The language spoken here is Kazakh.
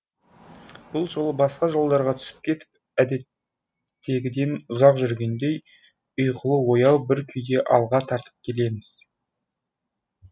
бұл жолы басқа жолдарға түсіп кетіп әдеттегіден ұзақ жүргендей ұйқылы ояу бір күйде алға тартып келеміз